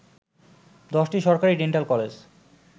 ১০টি সরকারি dental college